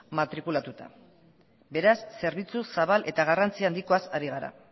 matrikulatuta beraz zerbitzu zabal eta garrantzi handikoaz ari gara